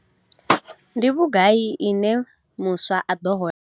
Ndi vhugai ine muswa a ḓo hola?